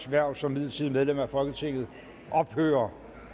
hverv som midlertidigt medlem af folketinget ophører